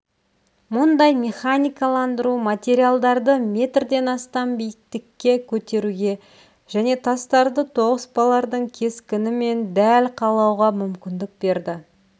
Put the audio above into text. мұндай механикаландыру материалдарды метрден астам биіктікке көтеруге және тастарды тоғыспалардың кескінімен дәл қалауға мүмкіндік берді